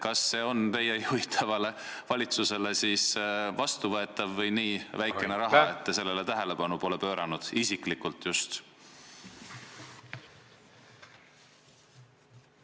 Kas see on teie juhitavale valitsusele vastuvõetav või on see nii väikene raha, et te sellele tähelepanu pole pööranud, isiklikult just teie?